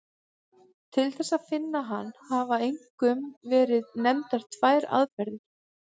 Til þess að finna hann hafa einkum verið nefndar tvær aðferðir.